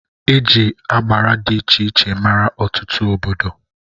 Eji agbara dị iche iche mara Ọtụtụ obodo.